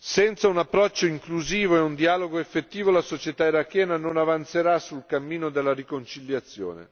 Senza un approccio inclusivo e un dialogo effettivo, la società irachena non avanzerà sul cammino della riconciliazione.